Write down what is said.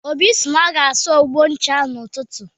Obi sị na ọ ga-asa abọ ncha ahụ n'ụtụtụ.